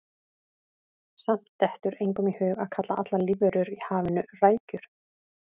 Samt dettur engum í hug að kalla allar lífverur í hafinu rækjur.